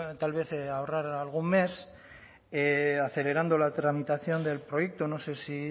tal vez ahorrar algún mes acelerando la tramitación del proyecto no sé si